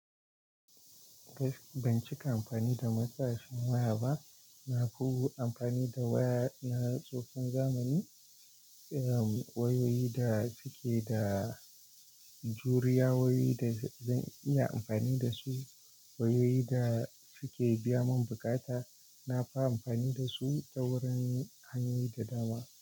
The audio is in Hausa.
Gas, ban cika amfani da matsashin waya ba. Na fi amfani da waya na tsohon zamani. Eh, wayoyi da suke da juriya, wayoyi da zan iya amfani da su, wayoyi da suke biya min bukata. Na fi amfani da su ta wurin hanyoyi da dama.